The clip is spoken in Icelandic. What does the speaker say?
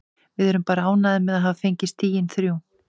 Við erum bara ánægðir með að hafa fengið stigin þrjú.